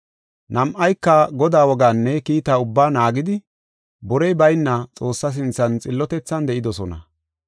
Nam7ayka Godaa wogaanne kiita ubbaa naagidi borey bayna Xoossaa sinthan xillotethan de7idosona.